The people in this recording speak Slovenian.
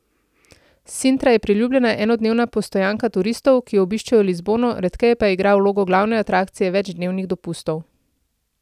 Sintra je priljubljena enodnevna postojanka turistov, ki obiščejo Lizbono, redkeje pa igra vlogo glavne atrakcije večdnevnih dopustov.